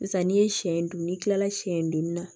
Sisan n'i ye siɲɛ dun n'i kilala siɲɛ duuru na